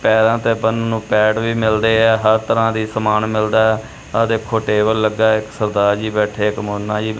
ਪੈਰਾਂ ਤੇ ਬੰਨਣ ਨੂੰ ਪੈਡ ਵੀ ਮਿਲਦੇ ਆ ਹਰ ਤਰ੍ਹਾਂ ਦੀ ਸਮਾਨ ਮਿਲਦਾ ਆਹ ਦੇਖੋ ਟੇਬਲ ਲੱਗਾ ਇੱਕ ਸਰਦਾਰ ਜੀ ਬੈਠੇ ਇੱਕ ਮੋਨਾ ਜੀ--